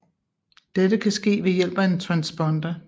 Dette kan ske ved hjælp af transponder